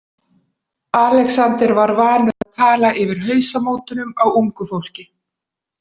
Alexander var vanur að tala yfir hausamótunum á ungu fólki.